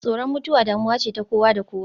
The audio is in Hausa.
Tsoron mutuwa damuwa ce ta kowa da kowa.